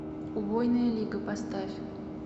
убойная лига поставь